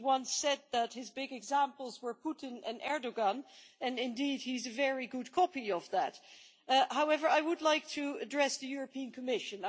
He once said that his big examples were Putin and Erdoğan, and indeed he is a very good copy of that. However, I would like to address the European Commission.